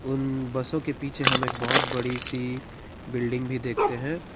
उन बसों के पीछे हम एक बहुत बड़ी सी बिल्डिंग भी देखते है।